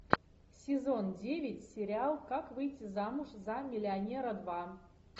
сезон девять сериал как выйти замуж за миллионера два